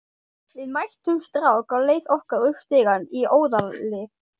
Við mættum strák á leið okkar upp stigann í Óðali.